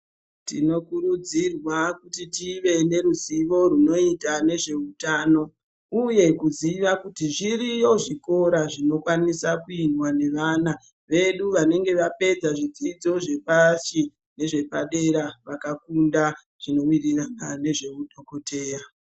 Tinokurudzirwa kuti tive neruzivo runoita nezveutano uye kuziva kuti zviriyo zvikora zvinokwaniswa kuendwa nevana vedu vanenge vapedza zvidzidzo zvepasi nezvepadera vakafunda zvinoenderana nezvehudhokodheya